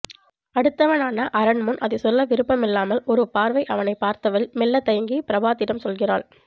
அடுத்தவனான அரண் முன் அதை சொல்ல விருப்பம் இல்லாமல் ஒரு பார்வை அவனைப் பார்த்தவள் மெல்ல தயங்கி ப்ரபாத்திடம் சொல்கிறாள்